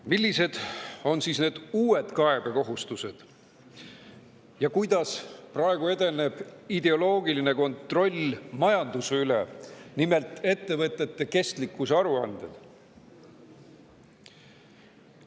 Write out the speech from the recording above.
Millised on siis need uued kaebekohustused ja kuidas praegu edeneb ideoloogiline kontroll majanduse üle, nimelt ettevõtete kestlikkuse aruanded?